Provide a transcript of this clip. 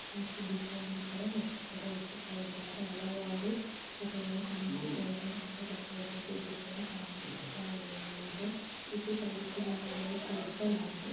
ಮತ್ತು ದೀಪವನ್ನು ಕೂಡ ಅರ್ಚಕರು ಹಚ್ಚುತ್ತಿದ್ದಾರೆ ಹಲವಾರು ಫೋಟೋ ಗಳು ಕಾಣಿಸುತ್ತಾ ಇದೆ ತಟ್ಟೆಯಲ್ಲಿ ದೊಡ್ದು ಕಾಣಿಸುತ್ತಿದೆ ಮತ್ತು ಟೈಲ್ಸ್ ಇನ ಮೇಲೆ ಕೂರಿಸಲಾಗಿದೆ.